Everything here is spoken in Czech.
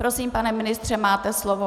Prosím, pane ministře, máte slovo.